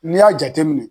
N'i y'a jateminɛ